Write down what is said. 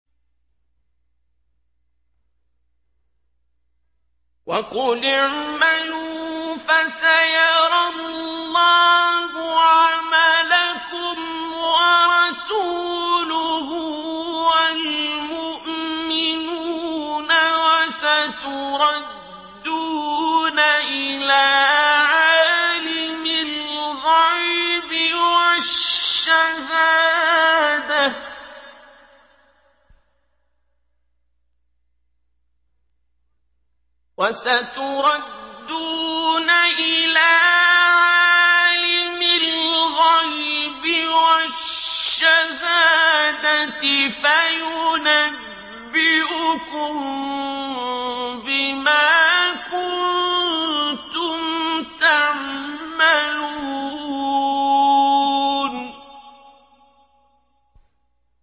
وَقُلِ اعْمَلُوا فَسَيَرَى اللَّهُ عَمَلَكُمْ وَرَسُولُهُ وَالْمُؤْمِنُونَ ۖ وَسَتُرَدُّونَ إِلَىٰ عَالِمِ الْغَيْبِ وَالشَّهَادَةِ فَيُنَبِّئُكُم بِمَا كُنتُمْ تَعْمَلُونَ